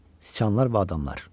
Sıçanlar və adamlar.